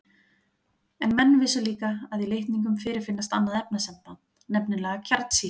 En menn vissu líka að í litningum fyrirfinnst annað efnasamband, nefnilega kjarnsýra.